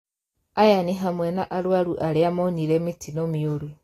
Aya nĩ hamwe na arũaru arĩ moonire mĩtino mĩũru